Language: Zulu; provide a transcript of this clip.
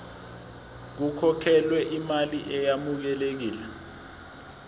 kukhokhelwe imali eyamukelekile